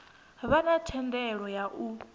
vha na thendelo ya u